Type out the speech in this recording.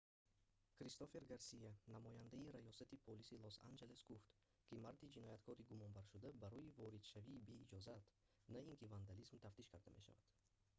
кристофер гарсия намояндаи раёсати полиси лос-анҷелес гуфт ки марди ҷинояткори гумонбаршуда барои воридшавии беиҷозат на ин ки вандализм тафтиш карда мешавад